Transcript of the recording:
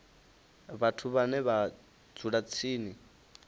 vhathu vhane vha dzula tsini